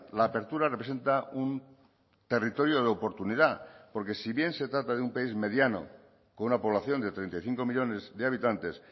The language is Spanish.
la apertura representa un territorio de oportunidad porque sí bien se trata de un país mediano con una población de treinta y cinco millónes de habitantes